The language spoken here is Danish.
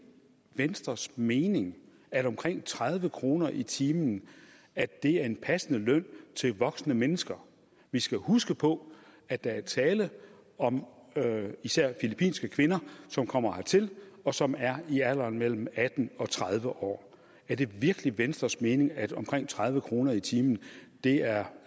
venstres mening at omkring tredive kroner i timen er en passende løn til voksne mennesker vi skal jo huske på at der er tale om især filippinske kvinder som kommer hertil og som er i alderen mellem atten og tredive år er det virkelig venstres mening at omkring tredive kroner i timen er